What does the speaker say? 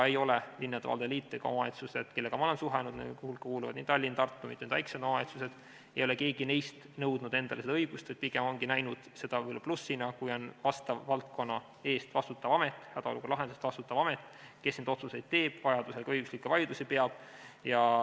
Ei ole linnade ja valdade liit ega omavalitsused, kellega mina olen suhelnud – nende hulka kuuluvad Tallinn, Tartu ja mitmed väikesed omavalitsused –, nõudnud endale seda õigust, vaid pigem ongi nad näinud seda plussina, kui vastava valdkonna eest vastutav amet, hädaolukorra lahendamise eest vastutav amet neid otsuseid teeb, vajaduse korral ka õiguslikke vaidlusi peab.